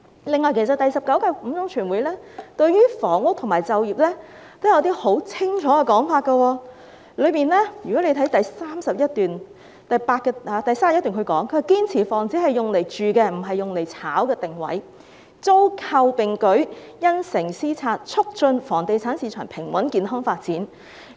此外，其實第十九屆五中全會對房屋和就業也有十分清楚的說法，大家可以看看有關報告的第31段，當中提到："堅持房子是用來住的、不是用來炒的定位，租購並舉、因城施策，促進房地產市場平穩健康發展。